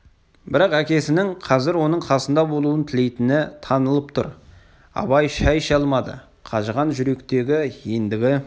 бірақ әкесінің қазір оның қасында болуын тілейтіні танылып тұр абай шай іше алмады қажыған жүректегі ендігі